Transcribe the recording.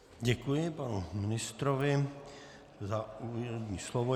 Děkuji panu ministrovi za úvodní slovo.